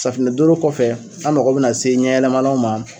Safunɛ doro kɔfɛ an mago bɛna se ɲɛ yɛlɛmalanw ma